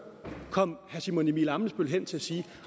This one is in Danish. kom herre simon emil ammitzbøll hen til at sige